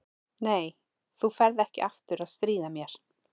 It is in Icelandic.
Nei, þú ferð ekki aftur að stríða mér.